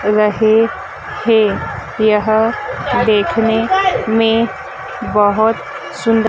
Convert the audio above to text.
रहे है यह देखने में बोहोत सुंदर--